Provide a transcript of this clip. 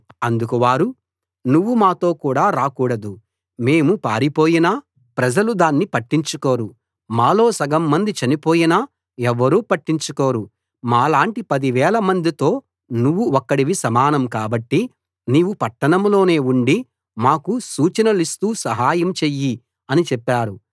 అందుకు వారు నువ్వు మాతో రాకూడదు మేము పారిపోయినా ప్రజలు దాన్ని పట్టించుకోరు మాలో సగం మంది చనిపోయినా ఎవ్వరూ పట్టించుకోరు మాలాంటి పది వేలమందితో నువ్వు ఒక్కడివి సమానం కాబట్టి నీవు పట్టణంలోనే ఉండి మాకు సూచనలిస్తూ సహాయం చెయ్యి అని చెప్పారు